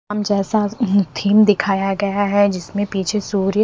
अब जैसा थीम दिखाया गया है जिसमें पीछे सूर्य--